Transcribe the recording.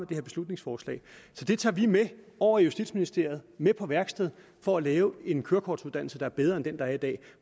det her beslutningsforslag så det tager vi med over i justitsministeriet med på værksted for at lave en kørekortuddannelse der er bedre end den der er i dag